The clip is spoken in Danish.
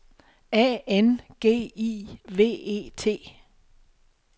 A N G I V E T